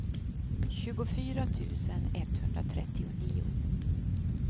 tjugofyra tusen etthundratrettionio